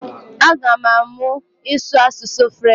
Aga m amụ ịsụ asụsụ french